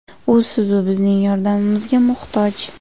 U siz-u bizning yordamimizga muhtoj.